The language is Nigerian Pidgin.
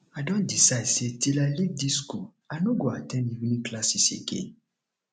i don decide say till i leave dis school i no go at ten d evening classes again